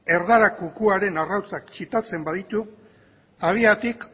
erdarako kukuaren arrautzak txitatzen baditu habiatik